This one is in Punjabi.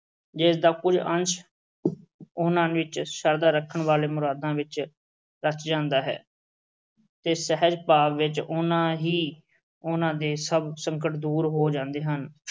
ਜਿਸ ਦਾ ਕੋਈ ਅੰਸ਼ ਉਨ੍ਹਾਂ ਵਿੱਚ, ਸ਼ਰਧਾ ਰੱਖਣ ਵਾਲੇ ਮੁਰਾਦਾਂ ਵਿੱਚ ਰਚ ਜਾਂਦਾ ਹੈ। ਤੇ ਸਹਿਜ ਭਾਵ ਵਿੱਚ ਉਨਾ ਹੀ ਉਨ੍ਹਾਂ ਦੇ ਸਭ ਸੰਕਟ ਦੂਰ ਹੋ ਜਾਂਦੇ ਹਨ।